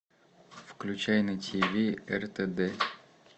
включай на тиви ртд